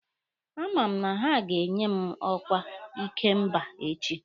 A ma m na ha ga-enye m ọkwa ikemba echi.